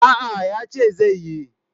A'a, yace zai yi.